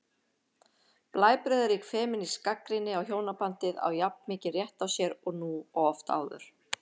Blæbrigðarík femínísk gagnrýni á hjónabandið á jafn mikinn rétt á sér nú og oft áður.